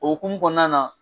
O hukumu kɔnɔna na